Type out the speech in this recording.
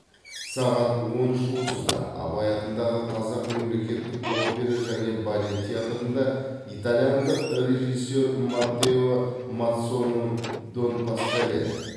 сағат он үш отызда абай атындағы қазақ мемлекеттік опера және балет театрында итальяндық режиссер маттео мазцоның дон паскале